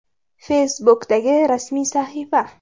Facebook’dagi rasmiy sahifa: !